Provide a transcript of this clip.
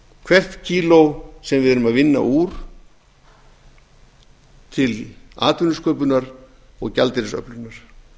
hvert kíló sem við erum að vinna úr til atvinnusköpunar og gjaldeyrisöflunar